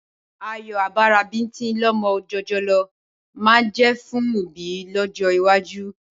Ayọ̀ abara bíńtín lọmọ jòjòló máa jẹ́ fún òbí lọ́jọ́ iwájú.